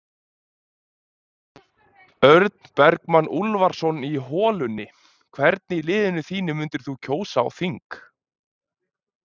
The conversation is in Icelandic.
Örn Bergmann Úlfarsson í holunni Hvern í liðinu þínu myndir þú kjósa á þing?